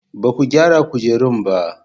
Ba ku gyara kujerun ba?